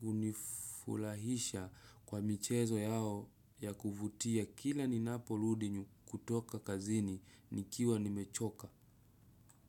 kunifulahisha kwa michezo yao ya kuvutia kila ninaporudi kutoka kazini nikiwa nimechoka.